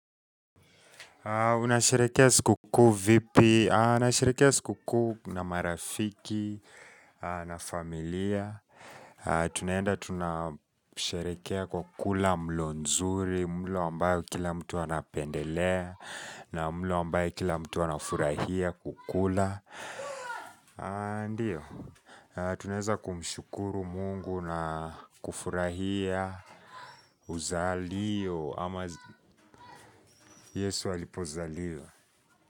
Unasheherekea siku kuu vipi, nasherekea siku kuu na marafiki, na familia Tunaenda tunasherekea kwa kula mlo nzuri, mlo ambao kila mtu anapendelea na mlo ambaye kila mtu anafurahia kukula Ndiyo, tunaeza kumshukuru mungu na kufurahia Uzalio ama yesu alipozaliwa.